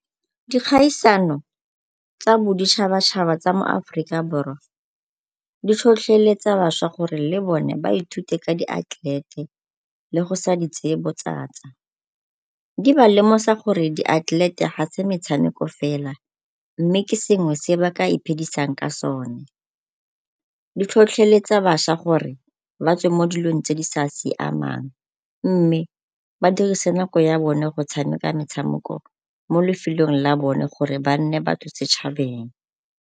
Dikgaisano tsa boditšhabatšhaba tsa moAforika Borwa di tlhotlheletsa bašwa gore le bone ba ithute ka diatlelete le go sa di tseye botsatsa. Di ba lemosa gore diatlelete ga se metshameko fela mme ke sengwe se ba ka iphidisang ka sone. Di tlhotlheletsa bašwa gore ba tswe mo dilong tse di sa siamang mme ba dirise nako ya bone go tshameka metshameko mo lefelong la bone gore ba nne batho setšhabeng.